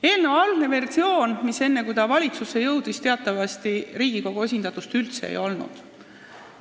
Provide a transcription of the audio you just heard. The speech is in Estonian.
Eelnõu algses versioonis, enne kui see valitsusse jõudis, Riigikogu esindatust teatavasti üldse ei olnud.